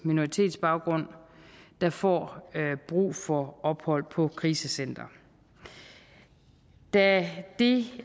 minoritetsbaggrund der får brug for ophold på krisecenter da det